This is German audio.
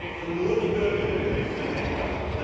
sie treffen nur die Bürger der betreffenden Länder.